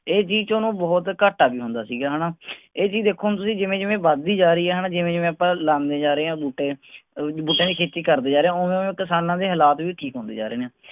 ਇਹ ਚੀਜ਼ ਚ ਓਹਨੂੰ ਬਹੁਤ ਘਾਟਾ ਵੀ ਹੁੰਦਾ ਸੀਗਾ ਹੈਨਾ। ਇਹ ਚੀਜ਼ ਦੇਖੋ ਹੁਣ ਤੁਸੀਂ ਜਿਵੇ ਜਿਵੇ ਵੱਧ ਦੀ ਜਾ ਰਹੀ ਹੈ ਹੈਨਾ ਜਿਵੇਂ ਜਿਵੇਂ ਆਪਾਂ ਲਾਉਂਦੇ ਜਾ ਰੇ ਹਾਂ ਬੂਟੇ। ਬੂਟਿਆਂ ਦੀ ਖੇਤੀ ਕਰਦੇ ਜਾ ਰਹੇ ਹਾਂ ਓਵੇ ਓਵੇ ਕਿਸਾਨਾਂ ਦੇ ਹਾਲਾਤ ਵੀ ਠੀਕ ਹੁੰਦੇ ਜਾ ਰਹੇ ਨੇ।